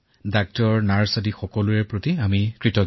দুখীয়াৰ কথা চিন্তা কৰক আৰু নিয়মসমূহ পালন কৰক